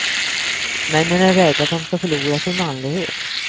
Männen är rädda att de ska förlora sin manlighet.